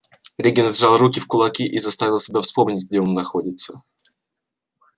регент сжал руки в кулаки и заставил себя вспомнить где он находится